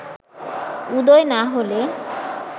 উদয় না হলে